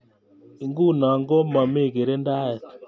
Enguno ko mami kirindaet